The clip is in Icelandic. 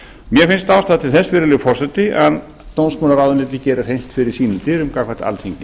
mér finnst ástæða til þess virðulegi forseti að dómsmálaráðuneytið geri hreint fyrir sínum dyrum gagnvart alþingi